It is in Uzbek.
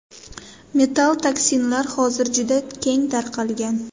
Metall toksinlar hozir juda keng tarqalgan.